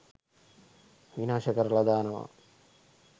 විනාශ කරලා දානවා.